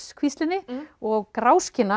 kvíslinni og